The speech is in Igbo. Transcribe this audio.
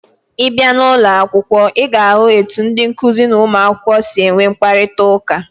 Ị bịa n'ụlọ akwụkwọ, ị ga-ahụ etu ndị nkụzi na ụmụakwụkwọ si enwe mkparịtaụka.